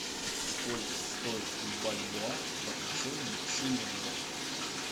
сколько стоит бальбоа в отношении шиллинга